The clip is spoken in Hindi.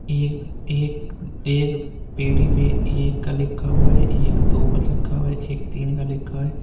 ये एक एक पेडी पे एक का लिखा हुआ है एक दो लिखा हुआ एक तीन का लिखा है।